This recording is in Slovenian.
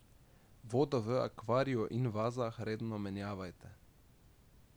Vodo v akvariju in vazah redno menjavajte.